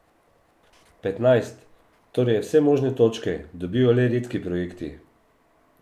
Petnajst, torej vse možne točke, dobijo le redki projekti.